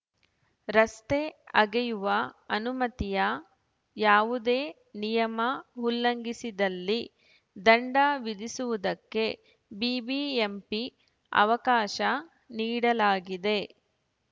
ರಸ್ತೆ ಅಗೆಯುವ ಅನುಮತಿಯ ಯಾವುದೇ ನಿಯಮ ಉಲ್ಲಂಘಿಸಿದಲ್ಲಿ ದಂಡ ವಿಧಿಸುವುದಕ್ಕೆ ಬಿಬಿಎಂಪಿ ಅವಕಾಶ ನೀಡಲಾಗಿದೆ